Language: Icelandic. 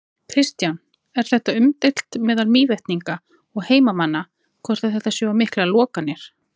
Kristján: Er þetta umdeilt meðal Mývetninga og heimamanna, hvort að þetta séu of miklar lokanir?